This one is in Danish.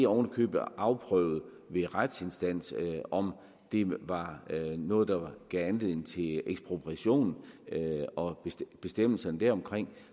oven i købet afprøvet ved en retsinstans om det var noget der gav anledning til ekspropriation og bestemmelserne deromkring